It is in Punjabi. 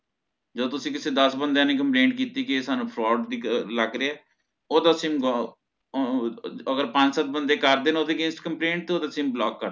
ਜਦੋ ਤੁਸੀਂ ਕਿਸੇ ਦਸ ਬੰਦੇਯਾ ਦੀ complain ਕੀਤੀ ਕੀ ਇਹ fraud ਲੱਗਿਆ ਓਹਦਾ ਸਿਮ ਆਹ ਅਗਰ ਪੰਜ ਸਤ ਬੰਦੇ ਕਰਦੇ ਨਾ ਓਹਦੇ against complain ਤੇ ਓਹਦਾ ਸਿਮ block ਕਰ ਦਿੰਦੇ